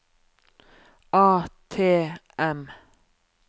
ATM